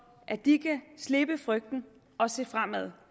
at de kan slippe frygten og se fremad